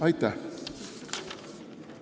Aitäh!